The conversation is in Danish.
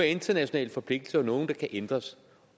internationale forpligtelser vi nogle der kan ændres